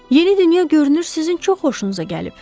Yeni dünya görünür sizin çox xoşunuza gəlib.